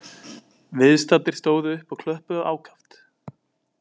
Viðstaddir stóðu upp og klöppuðu ákaft